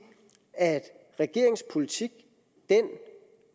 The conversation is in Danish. at regeringens politik den